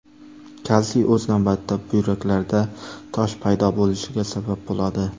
Kalsiy o‘z navbatida buyraklarda tosh paydo bo‘lishiga sabab bo‘ladi.